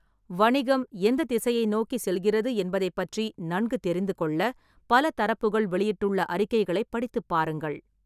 வணிகம் எந்தத் திசையை நோக்கிச் செல்கிறது என்பதைப் பற்றி நன்கு தெரிந்துகொள்ள பல தரப்புகள் வெளியிட்டுள்ள அறிக்கைகளைப் படித்துப் பாருங்கள்.